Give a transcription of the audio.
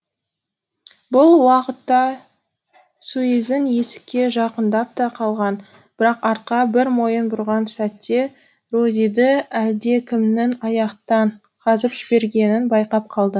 бұл уақытта суизин есікке жақындап та қалған бірақ артқа бір мойын бұрған сәтте розиді әлдекімнің аяқтан жібергенін байқап қалды